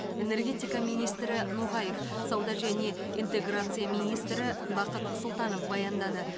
энергетика министрі ноғаев сауда және интеграция министрі бақыт сұлтанов баяндады